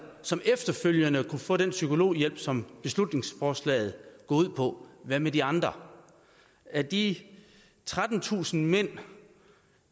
som efterfølgende kan få den psykologhjælp som beslutningsforslaget går ud på hvad med de andre og af de trettentusind mænd